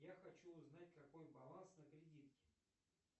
я хочу узнать какой баланс на кредитке